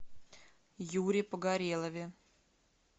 юре погорелове